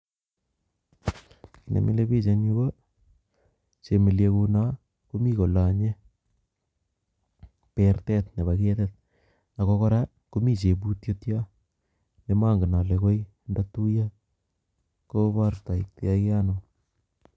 Nemilebik en yuu ko chemeliekuno komii kolonye bertet nebo ketit ak ko kora komii cheputiet yoon nemongen olee koi ndotuyo kobortoitoke anoo.